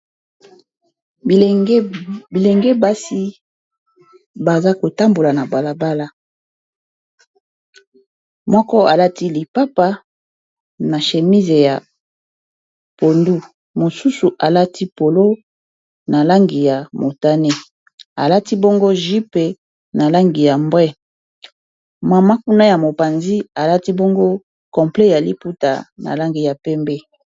Bilenge basi baza kotambola na balabala moko alati lipapa na shémise ya pondu mosusu alati polo na langi ya motane alati bongo ju pe na langi ya mbray mama kuna ya mopanzi alati bongo complet ya liputa na langi ya pembe